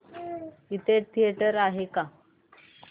इथे जवळ थिएटर आहे का